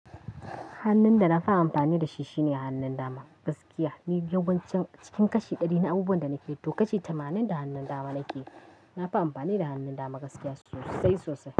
Hannun da na fi amfani da shi shine hannun dama gaskiya. Ni yawancin cikin kashi ɗari na abubuwan da nake yi, to kashi tamanin da hannun dama nake yi. Na fi amfani da hannun dama gaskiya sosai sosai.